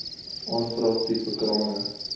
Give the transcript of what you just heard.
aanvraag tipe krane